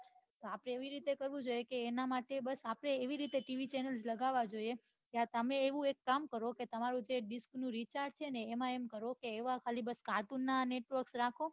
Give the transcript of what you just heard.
આપડે એ વી રીતે કરવું જોઈએ એના માટે આપડે એવી રીતે TVchanel લગાવ જોઈએ તમે એવું એક કામ કરો તમારા ડિસ્ક નું જે રિચાર્જ છે એમાં એમ કરો બસ cartoon ના network રાખો